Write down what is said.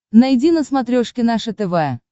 найди на смотрешке наше тв